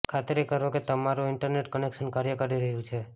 ખાતરી કરો કે તમારું ઇન્ટરનેટ કનેક્શન કાર્ય કરી રહ્યું છે